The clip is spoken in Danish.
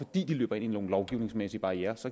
de løber ind i nogle lovgivningsmæssige barrierer så